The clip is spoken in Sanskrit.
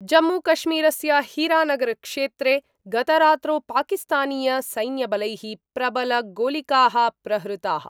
जम्मूकश्मीरस्य हीरानगरक्षेत्रे गतरात्रौ पाकिस्तानीय सैन्यबलै: प्रबल गोलिका: प्रहृताः।